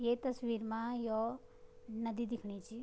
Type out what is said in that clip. ये तस्वीर मा यौ नदी दिखणी च।